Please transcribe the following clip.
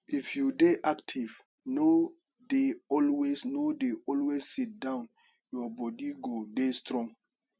if you dey active no dey always no dey always sit down your body go dey strong